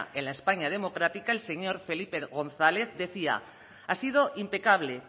en la españa democrática el señor felipe gonzález decía ha sido impecable